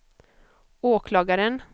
åklagaren